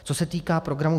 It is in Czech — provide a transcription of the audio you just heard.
Co se týče programu